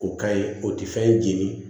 O ka ye o tɛ fɛn jeni